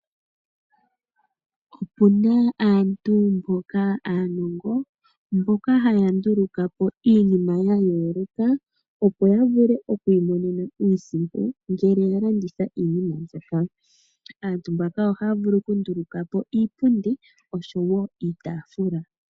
Opu na aantu mboka aanongo mboka haya nduluka po iinima ya yooloka opo ya vule okwiimonena iisimpo ngele ya landitha iinima mbyoka. Aantu mbaka ohaya vulu okunduluka po iipundi oshowo iitafula.